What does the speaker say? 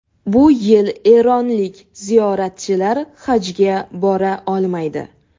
Bu yil eronlik ziyoratchilar Hajga bora olmaydi.